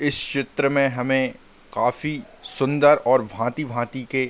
इस चित्र में हमे काफ़ी सुंदर और भाँति-भाँति के --